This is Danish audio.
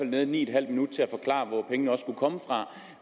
været ni en halv minut til at forklare hvor pengene skulle komme fra